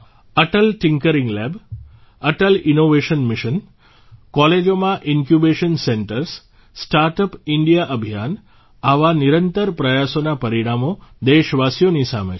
Atal tinkering lab Atal innovation mission કોલેજોમાં incubation centres startup India અભિયાન આવા નિરંતર પ્રયાસોના પરિણામો દેશવાસીઓની સામે છે